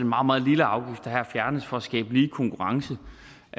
meget meget lille afgift der her fjernes for at skabe lige konkurrence